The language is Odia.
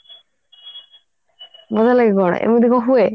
ମଜା ଲାଗେ ପରା ଏମିତି କଣ ହୁଏ